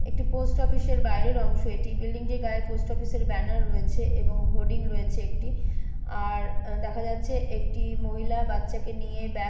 একটি post office এর বাইরের অংশ। এটি বিল্ডিং টির গায়ে পোস্ট অফিস এর ব্যানার রয়েছে এবং হোডিং রয়েছে একটি আর দেখা যাচ্ছে একটি মহিলা বাচ্চাকে নিয়ে ব্যাগ --